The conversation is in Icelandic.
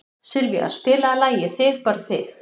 Sylvía, spilaðu lagið „Þig bara þig“.